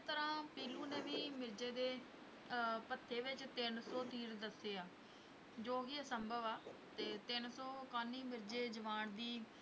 ਤਰ੍ਹਾਂ ਪੀਲੂ ਨੇ ਵੀ ਮਿਰਜ਼ੇ ਦੇ ਅਹ ਭੱਥੇ ਵਿੱਚ ਤਿੰਨ ਸੌ ਤੀਰ ਦੱਸੇ ਆ, ਜੋ ਕਿ ਅਸੰਭਵ ਆ ਤੇ ਤਿੰਨ ਸੌ ਕਾਨੀ ਮਿਰਜ਼ੇ ਜਵਾਨ ਦੀ,